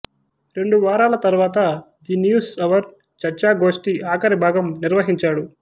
రెండు వారాల తరువాత ది న్యూస్ అవర్ చర్చా గోష్టి ఆఖరి భాగం నిర్వహించాడు